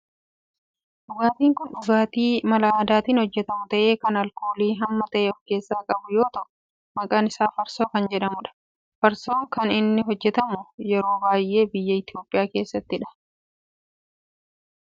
Dhugaatin kun dhugaatii mala aadaatin hojjetamu ta'ee kan alkoolii hamma ta'e of keessaa qabu yoo ta'u maqaan isaa farsoo kan jedhamudha. Farsoon kan inni hojjetamu yeroo baayyee biyya Itiyoophiyaa keessattidha.